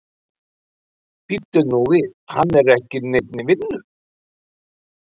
Bíddu nú við, hann er ekki í neinni vinnu?